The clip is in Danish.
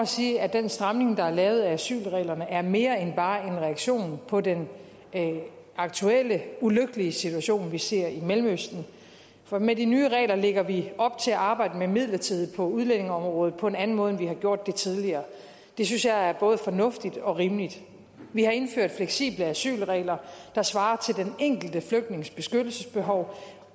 sige at den stramning der er lavet af asylreglerne er mere end bare en reaktion på den aktuelle ulykkelige situation vi ser i mellemøsten for med de nye regler lægger vi op til at arbejde med midlertidighed på udlændingeområdet på en anden måde end vi har gjort det tidligere og det synes jeg er både fornuftigt og rimeligt vi har indført fleksible asylregler der svarer til den enkelte flygtnings beskyttelsesbehov